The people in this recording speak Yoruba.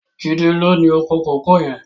Jide ló ni ókó kókòó yèn